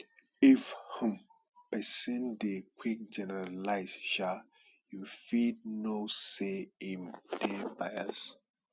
if um person dey quick generalize um you fit know sey im dey bias